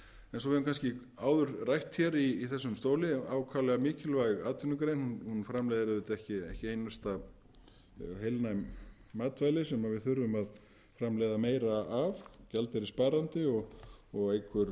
eins og við höfum kannski áður rætt í þessum stóli ákaflega mikilvæg atvinnugrein hún framleiðir ekki einar heilnæm matvæli sem við þurfum að framleiða meira af gjaldeyrissparandi og eykur